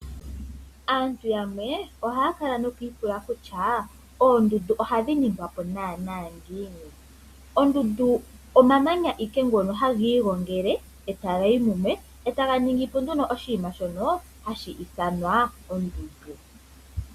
Aantu yamwe ohaya kala noku ipula kutya oondundu ohadhi ningwapo naana ngiini. Ondundu omamanya ihe ngono haga igongele etagayi mumwe e taga ningi po nduno oshinima shono hashi ithanwa ondundu.